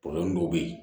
dɔw bɛ yen